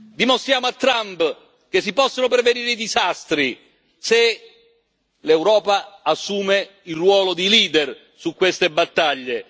Dimostriamo a Trump che si possono prevenire i disastri se l'Europa assume il ruolo di leader per queste battaglie.